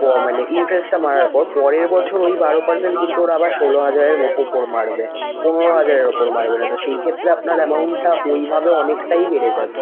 প মানে interest টা বাড়ার পর। পরের বছর ওই বারো percent কিন্তু ওরা আবার ষোল হাজারের ম~ উপর মারবে, পনেরো হাজারের উপর মারবে না। তো সেই ক্ষেত্রে আপনার amount টা ওইভাবে অনেকটাই বেড়ে যাবে।